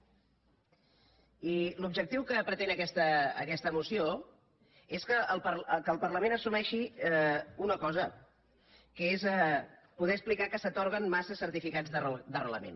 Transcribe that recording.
i l’objectiu que pretén aquesta moció és que el parlament assumeixi una co·sa que és poder explicar que s’atorguen massa certifi·cats d’arrelament